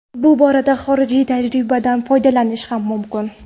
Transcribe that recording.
Bu borada xorijiy tajribadan foydalanish ham mumkin.